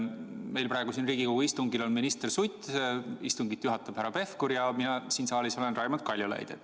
Meil on praegu siin Riigikogu istungil minister Sutt, istungit juhatab härra Pevkur ja mina siin saalis olen Raimond Kaljulaid.